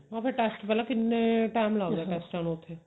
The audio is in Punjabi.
ਹਾਂ ਫੇਰ test ਪਹਿਲਾਂ ਕਿੰਨੇ time ਲਗ ਜਾਂਦਾ test ਆਂ ਨੂੰ ਉੱਥੇ